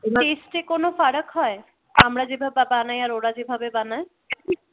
taste এ কোন ফারাক হয় আমরা যেভাবে বানাই আর ওরা যেভাবে বানায়